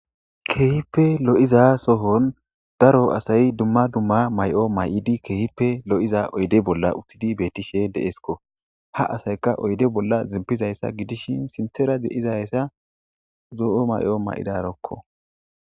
keehippe lo7iza sohon daro asay dumma dumma may7o may7idi keehippe lo7iza oyde bolla uttidi bettishe deesko ha asayka oyde bolla zimpizayssa gidishin sinthera de7izayssa zoo7o may7o may7idarokko